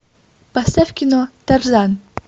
поставь кино тарзан